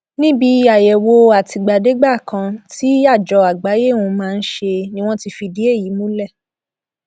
níbi àyẹwò àtìgbàdégbà kan tí àjọ àgbáyé un máa ń ṣe ni wọn ti fìdí èyí múlẹ